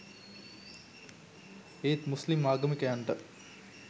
ඒත් මුස්ලිම් ආගමිකයන්ට